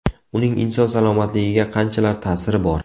Uning inson salomatligiga qanchalar ta’siri bor?